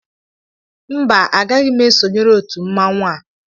mba, agaghị m esonyere otu mmanwụ a